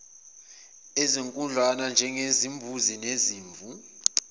ezinkudlwana njengezimbuzi nezimvu